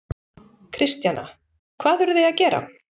Kristjana: Hvað eruð þið að gera?